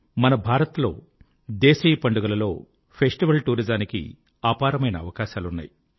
మన భారత్ లో దేశీయ పండుగలలో ఫెస్టివల్ జానికి అపారమైన అవకాశాలున్నాయి